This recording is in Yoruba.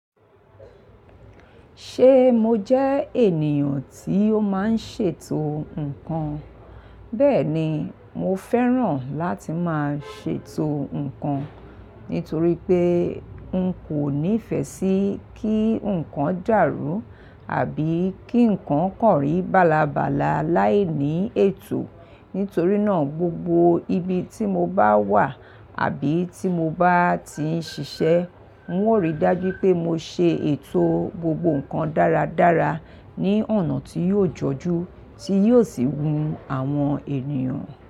Ṣé mo jẹ ènìyàn tí ó máa ń ṣètò ǹkan? Bẹ́ẹ̀ni, mo fẹ́ràn láti máa ṣètò ǹkan nítorí pé n kò nífẹ̀ẹ́ sí kí ǹkan dàrú àbí kí ǹkan kàn rí balabala láìní ètò. Nítorí náà, gbogbo ibi tí mo bá wà àbí tí mo bá ti ń ṣiṣẹ́, ń o ríi dájú pé mo ṣe ètò gbogbo ǹkan dáradára ní ọ̀nà tí yóò jọju tí yóò sì wun àwọn ènìyàn.